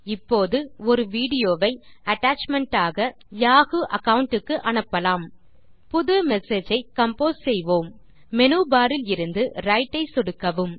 இப்போது ஒரு வீடியோ வை அட்டாச்மென்ட் ஆக யாஹூ அகாவுண்ட் க்கு அனுப்பலாம் புது மெசேஜ் ஐ கம்போஸ் செய்வோம் மேனு பார் இலிருந்து விரைட் ஐ சொடுக்கவும்